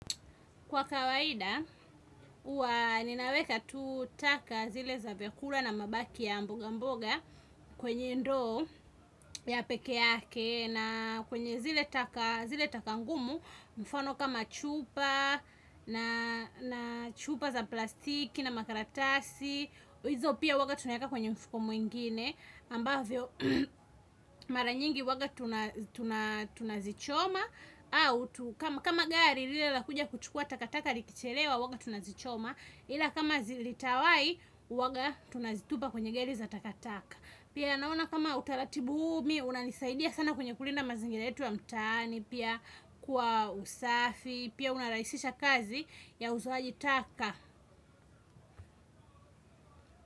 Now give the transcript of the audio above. Kwa kawaida, huwa ninaweka tu taka zile za vyakula na mabaki ya mboga mboga kwenye ndoo ya peke yake na kwenye zile taka zile taka ngumu, mfano kama chupa na chupa za plastiki na makaratasi hizo pia huwanga tunaeka kwenye mfuko mwingine ambavyo mara nyingi huwaga tunazichoma au kama gari lile lakuja kuchukua takataka likichelewa huwaga tunazichoma ila kama zilitawahi huwaga tunazitupa kwenye gari za takataka. Pia naona kama utaratibu huu mi unanisaidia sana kwenye kulinda mazingira yetu ya mtaani pia kwa usafi pia unarahisisha kazi ya uzoaji taka.